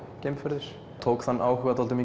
geimferðir tók þann áhuga dálítið